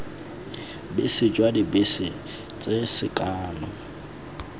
bese jwa dibese tse sekano